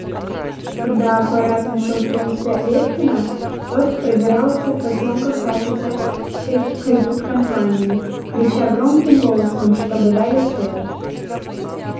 когда аппарат нашёл принца лефкина тот пробирался в потёмках по офицерской кают-компании крича громким голосом чтобы дали свет